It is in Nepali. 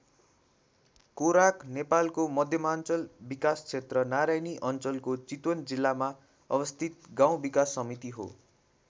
कोराक नेपालको मध्यमाञ्चल विकासक्षेत्र नारायणी अञ्चलको चितवन जिल्लामा अवस्थित गाउँ विकास समिति हो।